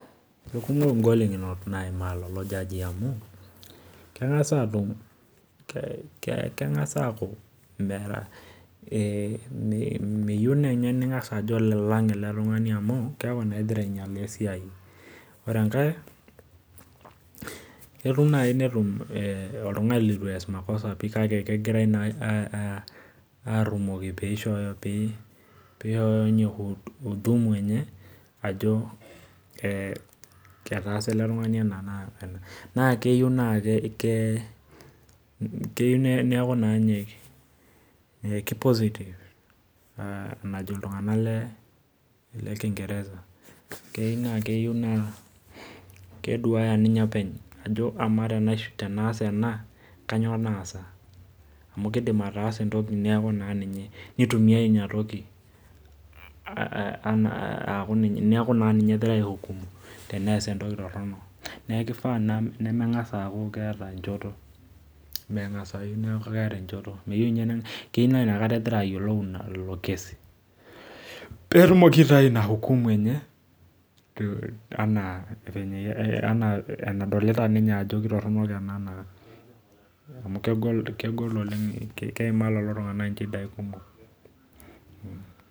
Eikumok ngolikinot naimaa lelo jajii amu, meyieu ninye ningas ajo olalang ele tungani amu keeku naa ingira inyalaa esiai. ore enkae ketum naaji netum oltungani leitu ess makosa pi kake kegirae naa arumoki pee eishooyo ninye huduma enye ajo ketaasa ele tengani ena wena.na keyieu neeku naa ninye kipositive enajo ltungank lekingereza. keyieu naa keduaya ninye openy ajo amaa tenas ena kainyoo naasa. amu kelo nees entoki neeku ninye naa engirae aihukumu tenes entoki torono. neeku kifaa naa nemengas aaku keeta enchoto keyeiu naa inakata egira ayiolou ilo kesi, pee etumoki aitayu ina hukumu enye ena enadolita ninye ajo keitoronok amu keimaa lelo tunganak inchidai kumok.